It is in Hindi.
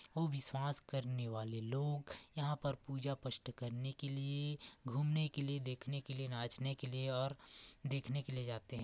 विश्वास करने वाले लोग यहां पर पूजा पष्ठ करने के लिए घूमने के लिए देखने के लिए नाच ने के लिए और देखने के लिए जाते है।